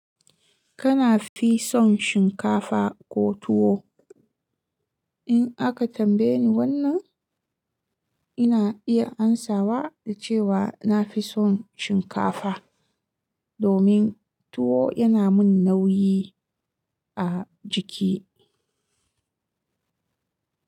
Kana fi son shinkafa ko tuwo? In aka tambaye ni wannan, ina iya amsawa da cewa nafi son shinkafa domin tuwo yana min nauyi a jiki.